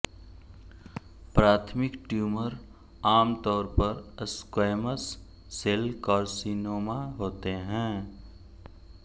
प्राथमिक ट्यूमर आमतौर पर स्क्वैमस सेल कार्सिनोमा होते हैं